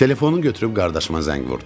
Telefonu götürüb qardaşıma zəng vurdum.